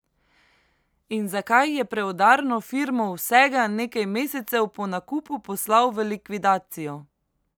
In zakaj je Preudarno Firmo vsega nekaj mesecev po nakupu poslal v likvidacijo?